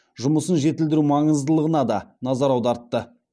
жұмысын жетілдіру маңыздылығына да назар аудартты